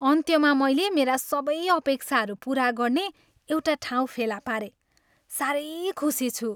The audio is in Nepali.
अन्त्यमा मैले मेरा सबै अपेक्षाहरू पुरा गर्ने एउटा ठाउँ फेला पारेँ। साह्रै खुसी छु।